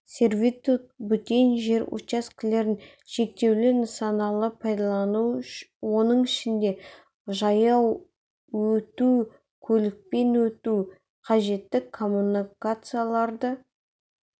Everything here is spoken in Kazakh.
сервитут бөтен жер учаскелерін шектеулі нысаналы пайдалану оның ішінде жаяу өту көлікпен өту қажетті коммуникацияларды